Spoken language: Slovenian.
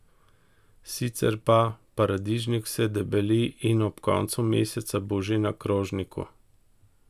Sicer pa, paradižnik se debeli in ob koncu meseca bo že na krožniku!